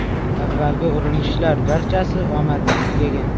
Avvalgi urinishlar barchasi omadsiz tugagan.